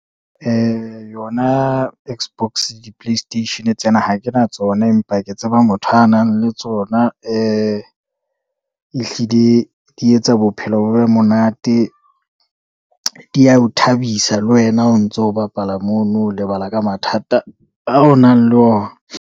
Yona X-box di-play station tsena, ha kena tsona, empa ke tseba motho a nang le tsona, ehlile di etsa bophelo bo be monate, diya o thabisa le wena o ntso bapala mono. Lebala ka mathata ao o nang le ona.